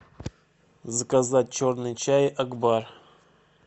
заказать черный чай акбар